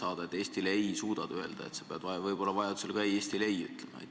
Kas sa Eestile suudad "ei" öelda, kui vajaduse korral peab seda tegema?